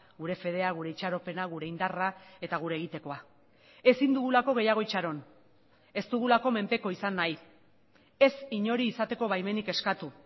gure fedea gure itxaropena gure indarra eta gure egitekoa ezin dugulako gehiago itxaron ez dugulako menpeko izan nahi ez inori izateko baimenik eskatu